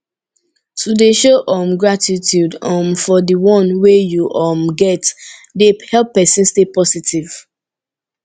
to de show um gratitude um for di one wey you um get de help persin stay positive